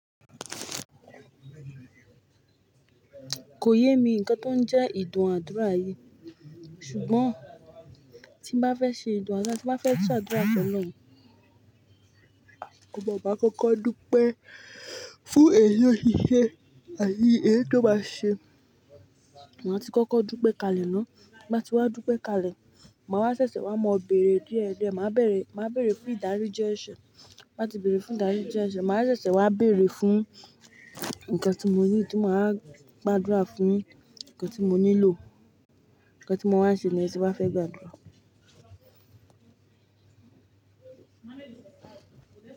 Kò yé mi nǹkan tó ń jẹ́ ìdùn àdúrà yìí ṣùgbọ́n tí n bá fẹ́ ṣe ìdùn àdúrà, tí n bá fẹ́ tún àdúrà fẹ́lọ̀run, mo máa bá kọ́kọ́ dúpẹ́ fún èyí oti se àti èyí è tó bá ṣe. Màá tí kọ́kọ́ dúpẹ́ kalẹ̀ náà Bí màá ti wá dúpẹ́ kalẹ̀, màá ṣẹ̀ṣẹ̀ wá mọ̀ bẹ̀rẹ̀ díẹ̀díẹ̀. Màá bẹ̀rẹ̀, màá bẹ̀rẹ̀ fún ìdáríjì ẹ̀ṣẹ̀. Bí màá ti bẹ̀rẹ̀ fún ìdáríjì ẹ̀ṣẹ̀, màá ṣẹ̀ṣẹ̀ wá bẹ̀rẹ̀ fún ǹkan tí mo ní, tí màá gbàdúrà fún un, ǹkan tí mo nílò, ǹkan tí mo wà ṣe ni èyí tí màá fẹ́ gbàdúrà.